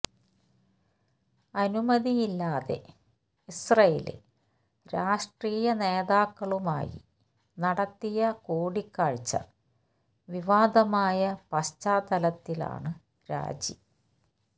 അനുമതിയില്ലാതെ ഇസ്രയേല് രാഷ്ട്രീയ നേതാക്കളുമായി നടത്തിയ കൂടിക്കാഴ്ച വിവാദമായ പശ്ചാത്തലത്തിലാണ് രാജി